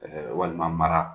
Ɛɛ walima mara.